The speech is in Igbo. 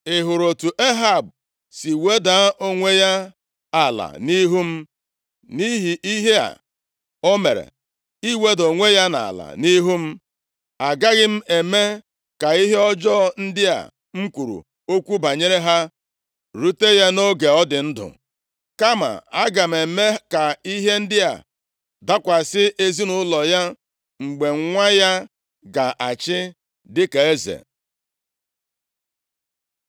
“Ị hụrụ otu Ehab si weda onwe ya ala nʼihu m? Nʼihi ihe a o mere, iweda onwe ya ala nʼihu m, agaghị m eme ka ihe ọjọọ ndị a m kwuru okwu banyere ha rute ya nʼoge ọ dị ndụ. Kama aga m eme ka ihe ndị a dakwasị ezinaụlọ ya mgbe nwa ya ga-achị dịka eze.”